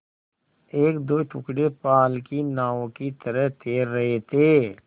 एकदो टुकड़े पाल की नावों की तरह तैर रहे थे